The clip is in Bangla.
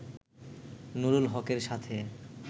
নুরুল হকের সাথে